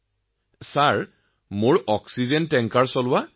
১৫ৰ পৰা ১৭ বছৰ হৈ গল মই অক্সিজেনৰ টেংকাৰ চলোৱা